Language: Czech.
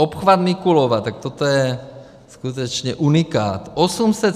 Obchvat Mikulova - tak toto je skutečně unikát.